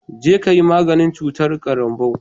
Jeka yi maganin cutar karanbou